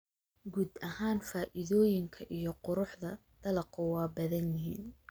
Guud ahaan, faa'iidooyinka iyo quruxda dalaggu waa badan yihiin.